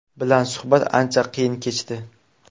bilan suhbat ancha qiyin kechdi.